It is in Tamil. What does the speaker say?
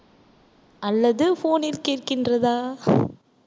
அல்லது phone ல் கேட்கின்றதா